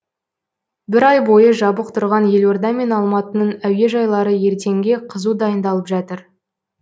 бір ай бойы жабық тұрған елорда мен алматының әуежайлары ертеңге қызу дайындалып жатыр